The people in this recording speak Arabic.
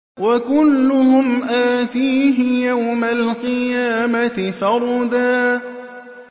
وَكُلُّهُمْ آتِيهِ يَوْمَ الْقِيَامَةِ فَرْدًا